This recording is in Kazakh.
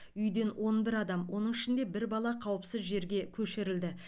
үйден он бір адам оның ішінде бір бала қауіпсіз жерге көшірілді